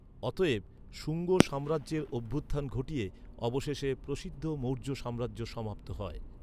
অতএব, শুঙ্গ সাম্রাজ্যের অভ্যুত্থান ঘটিয়ে অবশেষে প্রসিদ্ধ মৌর্য সাম্রাজ্য সমাপ্ত হয়।